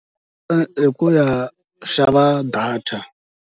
Ee i ku ya xava data.